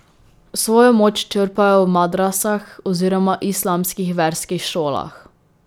Svojo moč črpajo v madrasah oziroma islamskih verskih šolah.